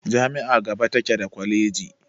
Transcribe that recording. Jami'a gaba take daa kwaleji.